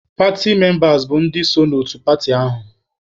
Paatị membas bụ ndị so n'otu paatị ahụ.